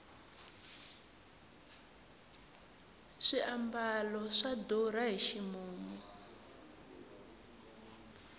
swiambalo swa durha hi ximumu